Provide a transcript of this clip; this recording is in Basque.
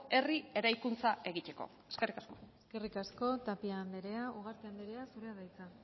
herri eraikuntza egiteko eskerrik asko eskerrik asko tapia andrea ugarte andrea zurea da hitza